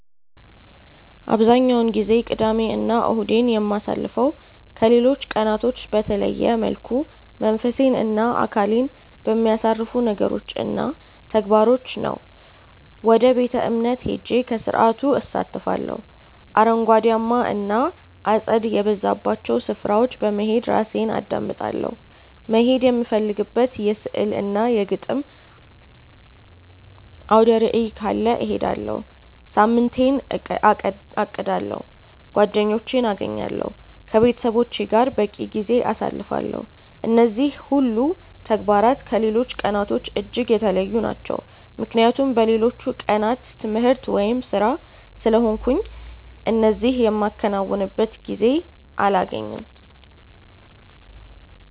አብዛኛውን ጊዜ ቅዳሜ እና እሁዴን የማሳልፈው ከሌሎች ቀናቶች በተለየ መልኩ መንፈሴን እና አካሌን በሚያሳርፉ ነገሮች እና ተግባራቶች ነው። ወደ ቤተ-እምነት ሄጄ ከስርዓቱ እሳተፋለሁ፤ አረንጓዴያማ እና አጸድ የበዛባቸው ስፍራዎች በመሄድ ራሴን አዳምጣለሁ፤ መሄድ የምፈልግበት የሥዕል እና የግጥም አውደርዕይ ካለ እሄዳለሁ፤ ሳምንቴን አቅዳለሁ፤ ጓደኞቼን አገኛለሁ፤ ከቤተሰቦቼ ጋር በቂ ጊዜ አሳልፋለሁ። እነዚህ ሁሉ ተግባራት ከሌሎች ቀናቶች እጅግ የተለዩ ናቸው ምክንያቱም በሌሎቹ ቀናት ትምህርት ወይም ስራ ስለሆንኩ እነዚህ የማከናውንበት ጊዜ አላገኝም።